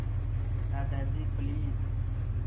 Dadaji please